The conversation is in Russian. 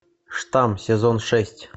штамм сезон шесть